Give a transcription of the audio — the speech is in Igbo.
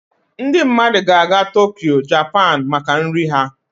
Ndị mmadụ ga-aga Tokyo, Japan maka nri Ya